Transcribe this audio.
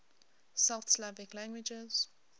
south slavic languages